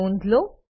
ની નોંધ લો